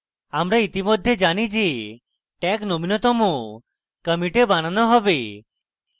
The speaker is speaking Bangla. আমরা ইতিমধ্যে জানি যে tag নবীনতম কমিটে বানানো হবে